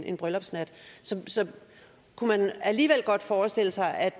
en bryllupsnat så kunne man alligevel godt forestille sig at